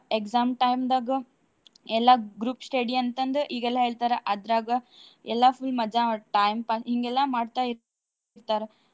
Exam time ದಾಗ ಎಲ್ಲಾ group study ಅಂತಂದ್ ಈಗೆಲ್ಲಾ ಹೇಳ್ತಾರಾ ಅದ್ರಾಗ ಎಲ್ಲಾ full ಮಜಾ ಮಾ~ time pa~ ಹಿಂಗೆಲ್ಲಾ ಮಾಡ್ತಾ ಇರ್ತಾರ.